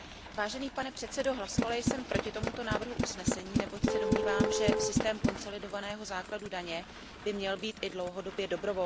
Pane předsedající, hlasovala jsem proti tomuto návrhu usnesení, neboť se domnívám, že systém konsolidovaného základu daně by měl být i dlouhodobě dobrovolný.